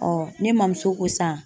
ne mamuso ko sisan